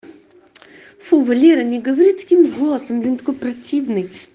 фу валера не говори таким голосом такой противный